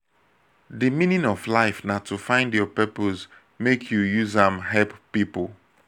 di meaning of life na to find your purpose make you use am help pipo.